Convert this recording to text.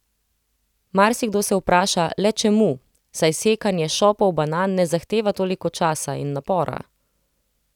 Marsikdo se vpraša le čemu, saj sekanje šopov banan ne zahteva toliko časa in napora?